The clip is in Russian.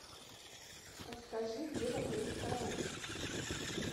подскажи где в отеле караоке